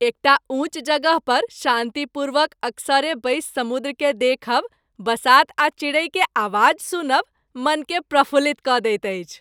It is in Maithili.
एकटा ऊंच जगह पर शान्तिपूर्वक एकसरे बैसि समुद्रकेँ देखब, बसात आ चिड़ै के आवाज सुनब मनकेँ प्रफुल्लित कऽ दैत अछि।